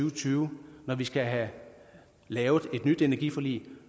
og tyve når vi skal have lavet et nyt energiforlig